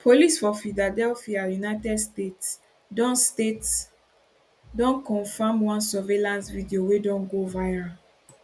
police for philadelphia united states don states don confam one surveillance video wey don go viral